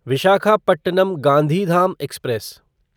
Visakhapatnam Gandhidham express